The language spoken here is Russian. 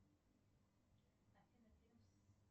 афина